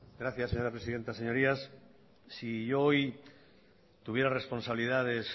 gracias señora presidenta señorías si yo hoy tuviera responsabilidades